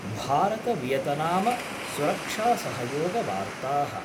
भारतवियतनाम सुरक्षासहयोग वार्ताः